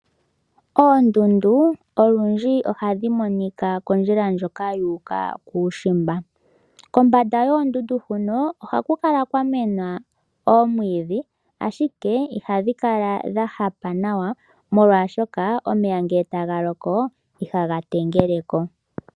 Oondundu olundji ohadhi monika kondjila ndjoka yuuka kuushimba. Kombanda yoondundu hono ohaku kala kwa mena oomwiidhi ashike ihadhi kala dha hapa nawa molwaashoka omvula ngele tayi loko omeya ihaga tengeleko.